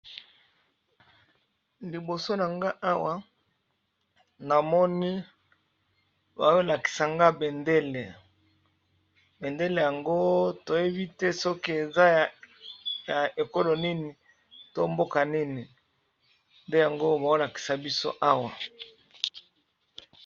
liboso na nga awa namoni baolakisa nga bendele bendele yango toyebi te soki eza ya ekolo nini to mboka nini nde yango baolakisa biso awa